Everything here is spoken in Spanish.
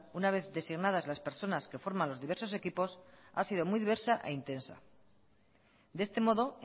una vez designadas las personas que forman los diversos equipos ha sido muy diversa e intensa de este modo